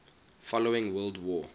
following world war